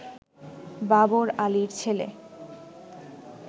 বাবর আলীর ছেলে